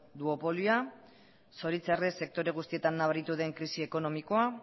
duopolioa zoritzarrez sektore guztietan nabaritu den krisi ekonomikoa